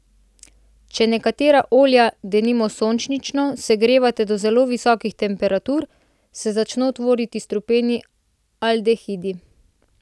Če nekatera olja, denimo sončnično, segrevate do zelo visokih temperatur, se začno tvoriti strupeni aldehidi.